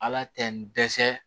Ala tɛ n dɛsɛ